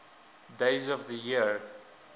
days of the year